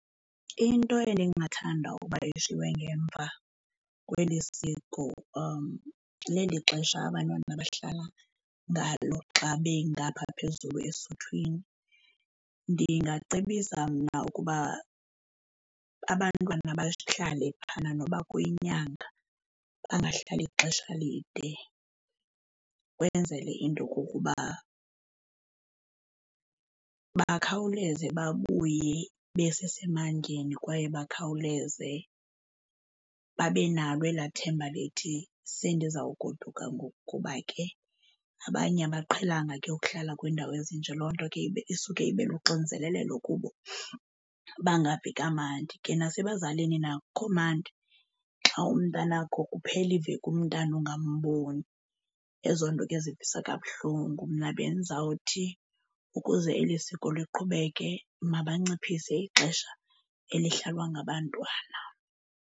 Into endingathanda uba ishiywe ngemva kweli siko leli xesha abantwana bahlala ngalo xa bengapha phezulu esuthwini. Ndingacebisa mna ukuba abantwana bahlale phana noba kuyinyanga bangahlali ixesha elide, ukwenzele into okokuba bakhawuleze babuye besesemandleni kwaye bakhawuleze babe nalo elaa themba lithi sendizawugoduka ngoku kuba ke abanye abaqhelanga ke ukuhlala kwiindawo ezinje, loo nto ke ibe isuke ibe luxinzelelelo kubo bangavi kamandi. Ke nasebazalini na akukho mandi xa umntanakho kuphela iveki umntana ungambomi, ezo nto ke zivisa kabuhlungu. Mna bendizawuthi ukuze eli siko liqhubeke mabanciphise ixesha elihlalwa ngabantwana.